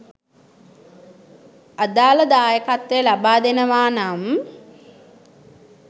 අදාළ දායකත්වය ලබාදෙනවා නම්